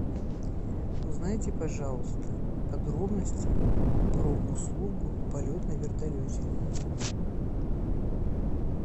узнайте пожалуйста подробности про услугу полет на вертолете